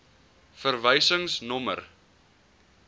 verwysingsnommer